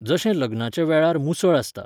जशें लग्नाच्या वेळार मुसळ आसता.